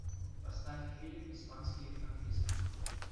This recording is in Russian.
поставь фильм испанский английский